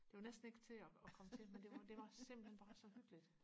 det var næsten ikke til og og komme til men det var det var simpelthen bare så hyggeligt